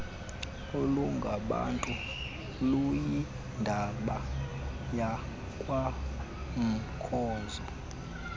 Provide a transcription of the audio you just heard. olungabantu luyindaba yakwamkhozo